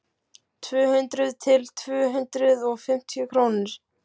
Tvö hundruð til tvö hundruð og fimmtíu krónur.